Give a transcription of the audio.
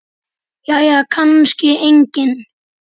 Jæja kannski enginn.